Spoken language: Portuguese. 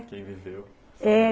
Quem viveu. É.